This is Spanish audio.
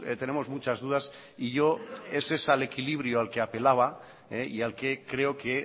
tenemos muchas dudas y yo es ese al equilibrio al que apelaba y al que creo que